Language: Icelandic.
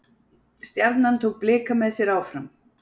Stjarnan tók Blika með sér áfram